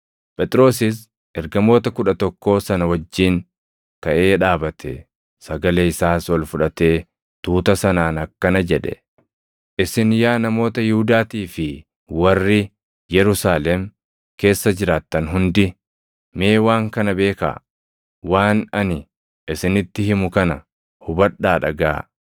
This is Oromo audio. Phexrosis ergamoota Kudha Tokkoo sana wajjin kaʼee dhaabate; sagalee isaas ol fudhatee tuuta sanaan akkana jedhe; “Isin yaa namoota Yihuudaatii fi warri Yerusaalem keessa jiraattan hundi, mee waan kana beekaa; waan ani isinitti himu kana hubadhaa dhagaʼaa.